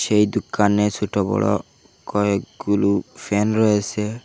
সেই দুকানে ছোট বড় কয়েকগুলু ফ্যান রয়েসে।